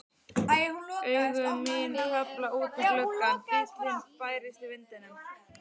Augu mín hvarfla út um gluggann, bíllinn bærist í vindinum.